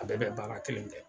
A bɛɛ bɛ baara kelen kɛ